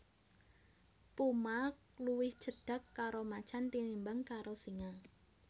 Puma luwih cedhak karo macan tinimbang karo singa